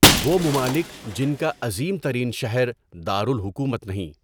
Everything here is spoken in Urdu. وہ ممالک جن کا عظیم ترین شہر دار الحکومت نہیں